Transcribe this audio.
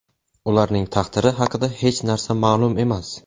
Ularning taqdiri haqida hech narsa ma’lum emas.